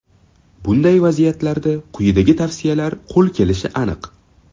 Bunday vaziyatlarda quyidagi tavsiyalar qo‘l kelishi aniq.